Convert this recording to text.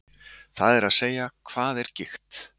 Það er að segja, hvað er gigt?